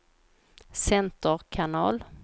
center kanal